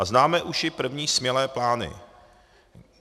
A známe už i první smělé plány.